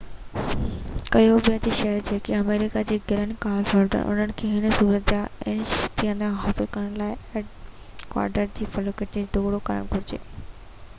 Cuba جا شهري جيڪي آمريڪا جي گرين ڪارڊ هولڊر آهن انهن کي هن ضرورت کان استثنا حاصل ڪرڻ لاءِ اڪواڊورين قونصليٽ جو دورو ڪرڻ گهرجي